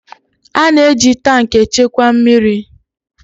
A na-eji tankị echekwa mmiri